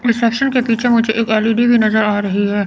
Reception के पीछे मुझे एक एल_ई_डी भी नजर आ रही है।